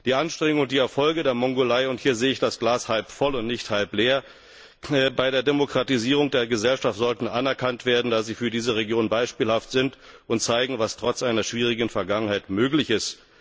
Die Anstrengungen und die Erfolge der Mongolei und hier sehe ich das Glas halbvoll und nicht halbleer bei der Demokratisierung der Gesellschaft sollten anerkannt werden, da sie für diese Region beispielhaft sind und zeigen, was trotz einer schwierigen Vergangenheit möglich ist.